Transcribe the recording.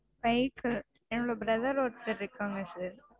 bike என்னோட brother ஒருத்தர் இருக்காங்க sir